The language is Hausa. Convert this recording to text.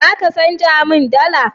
Za ka canja min dala?